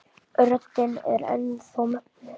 Röddin er enn þá mögnuð.